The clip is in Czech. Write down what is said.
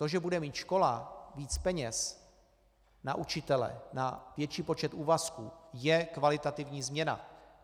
To, že bude mít škola víc peněz na učitele, na větší počet úvazků, je kvalitativní změna.